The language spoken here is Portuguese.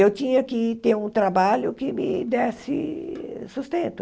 Eu tinha que ter um trabalho que me desse sustento.